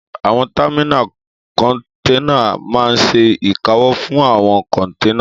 Àwọn támínà kọ́nténà máa n ṣe ìkáwọ́ fún àwọn kọ́nténà